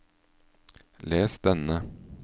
les denne